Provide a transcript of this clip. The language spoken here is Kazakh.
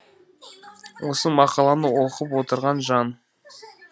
осы мақаланы оқып отырған жан